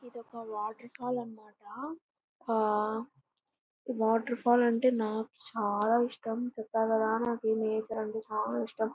ఇది ఒక water fall అన్నమాట. ఆ వాటర్ ఫాల్ అంటే నాకు చాలా ఇష్టం. చెప్పాకదా నాకు ఈ నేచర్ అంటే చాల ఇష్టం.